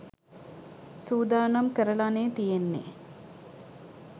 සූදානම් කරලානේ තියෙන්නේ.